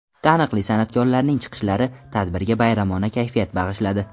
Taniqli san’atkorlarning chiqishlari tadbirga bayramona kayfiyat bag‘ishladi.